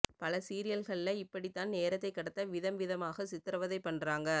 பல சீரியல்கள்ள இப்படித்தான் நேரத்தைக் கடத்த விதம் விதமாக சித்திரவதை பண்றாங்க